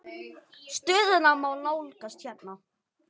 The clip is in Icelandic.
Stöðuna má nálgast hérna.